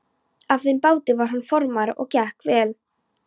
Á þeim báti var hann formaður og gekk vel.